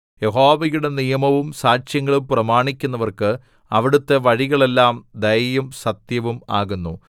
യഹോവയുടെ നിയമവും സാക്ഷ്യങ്ങളും പ്രമാണിക്കുന്നവർക്ക് അവിടുത്തെ വഴികളെല്ലാം ദയയും സത്യവും ആകുന്നു